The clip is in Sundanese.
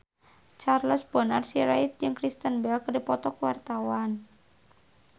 Charles Bonar Sirait jeung Kristen Bell keur dipoto ku wartawan